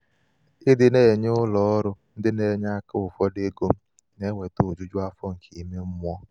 ịdị na -enye ụlọ ọrụ ndị na-enye aka ụfọdụ égo m na-eweta ojuju afọ nke ímé mmụọ.